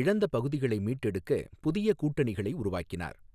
இழந்த பகுதிகளை மீட்டெடுக்கப் புதிய கூட்டணிகளை உருவாக்கினார்.